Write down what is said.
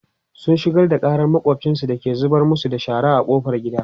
sun shigar da ƙarar makwafcinsu da ke zubar masu da shara ƙofar gida